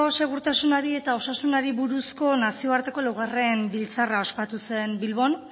segurtasunari eta osasunari buruzko nazioarteko laugarren biltzarra ospatu zen bilbon